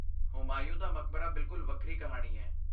ਹੁਮਾਯੂੰ ਦਾ ਮਕਬਰਾ ਬਿਲਕੁਲ ਵੱਖਰੀ ਕਹਾਣੀ ਹੈ।